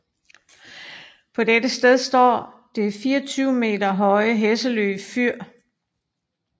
På dette sted står det 24 meter høje Hesselø Fyr